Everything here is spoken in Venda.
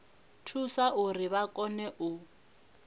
thusa uri vha kone u